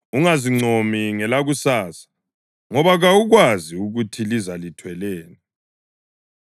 Ungazincomi ngelakusasa, ngoba kawukwazi ukuthi liza lithweleni.